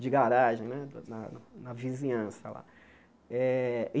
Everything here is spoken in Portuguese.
de garagem né na na vizinhança lá. Eh